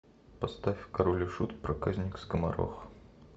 поставь король и шут проказник скоморох